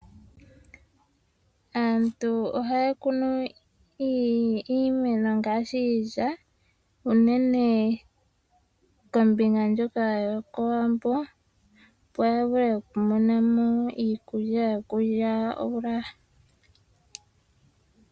Aantu ohaya kunu imeno ngaashi iilya unene unene kombinga ndyoka yoko wambo opo yavule okumona mo iikulya yokulya.